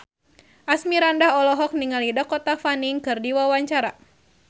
Asmirandah olohok ningali Dakota Fanning keur diwawancara